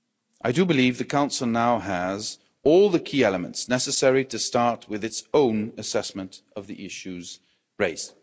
I do believe the Council now has all the key elements necessary to start with its own assessment of the issues raised.